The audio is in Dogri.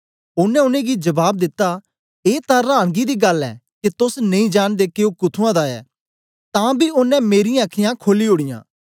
ओनें उनेंगी जबाब दिता ए तां रांनगी दी गल्ल ऐ के तोस नेई जांनदे के ओ कुथुंआं दा ऐ तान बी ओनें मेरीयां अखीयाँ खोली ओड़ीयां